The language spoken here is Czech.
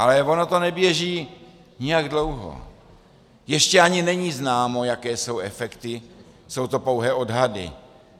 Ale ono to neběží nijak dlouho, ještě ani není známo, jaké jsou efekty, jsou to pouhé odhady.